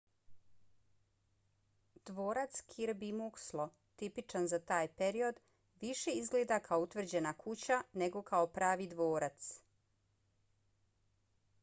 dvorac kirby muxloe tipičan za taj period više izgleda kao utvrđena kuća nego kao pravi dvorac